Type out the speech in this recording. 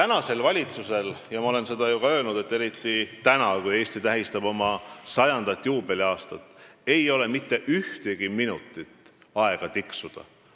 Nagu ma olen juba öelnud, praegusel valitsusel ei ole – eriti nüüd, kui Eesti tähistab oma 100. juubeliaastapäeva – mitte ühtegi minutit aega tiksuda.